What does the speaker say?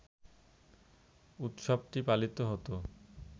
উৎসবটি পালিত হত